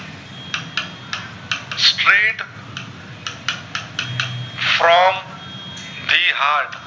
from the hart